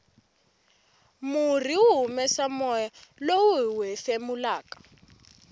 murhi wu humesa moya lowu hiwu hefemulaka